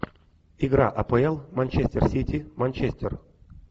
игра апл манчестер сити манчестер